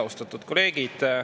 Austatud kolleegid!